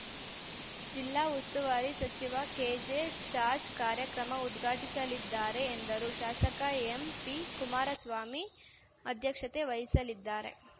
ಜಿಲ್ಲಾ ಉಸ್ತುವಾರಿ ಸಚಿವ ಕೆಜೆ ಜಾರ್ಜ್ ಕಾರ್ಯಕ್ರಮ ಉದ್ಘಾಟಿಸಲಿದ್ದಾರೆ ಎಂದರು ಶಾಸಕ ಎಂಪಿ ಕುಮಾರಸ್ವಾಮಿ ಅಧ್ಯಕ್ಷತೆ ವಹಿಸಲಿದ್ದಾರೆ